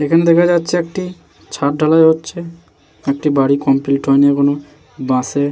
এখনে দেখা যাচ্ছে একটি ছাদ ঢালাই হচ্ছে । একটি বাড়ি কমপ্লিট হয়নি এখনো । বাঁশে --